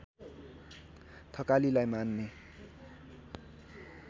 थकालीलाई मान्ने